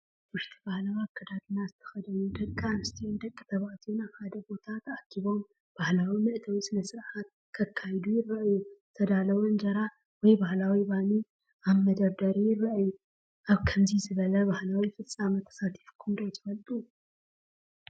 ኣብ ውሽጢ ባህላዊ ኣከዳድና ዝተኸድኑ ደቂ ኣንስትዮን ደቂ ተባዕትዮን ኣብ ሓደ ቦታ ተኣኪቦም ባህላዊ መእተዊ ስነ-ስርዓት ከካይዱ ይረኣዩ። ዝተዳለወ ኢንጀራ ወይ ባህላዊ ባኒ ኣብ መደርደሪ ይርአ። ኣብ ከምዚ ዝበለ ባህላዊ ፍጻመ ተሳቲፍኩም ዶ ትፈልጡ?